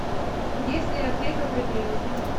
есть ли аптека при клинике